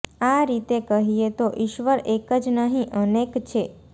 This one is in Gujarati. આ રીતે કહીએ તો ઇશ્વર એક જ નહીં અનેક છે